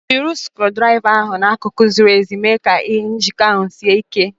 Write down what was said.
Jide skru draiva ahu n'akụkụ ziri ezi ma mee ka njiko ahụ sie ike.